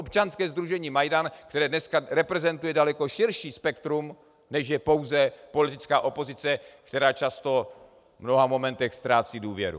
Občanské sdružení Majdan, které dnes reprezentuje daleko širší spektrum, než je pouze politická opozice, která často v mnoha momentech ztrácí důvěru.